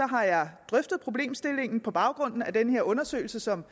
har jeg drøftet problemstillingen på baggrund af den her undersøgelse som